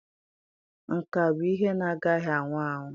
Nka bụ ihe na-agaghị anwụ anwụ.